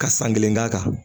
Ka san kelen k'a kan